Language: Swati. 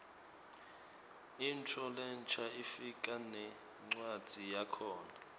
intfo lensha ifika nencwadzi yakhona